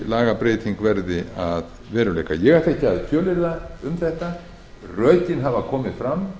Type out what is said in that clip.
lagabreytingin verði að veruleika ég ætla ekki að fjölyrða um þetta rökin hafa áður komið fram